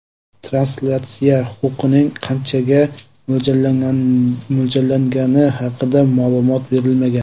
Translyatsiya huquqining qanchaga mo‘ljallangani haqida ma’lumot berilmagan.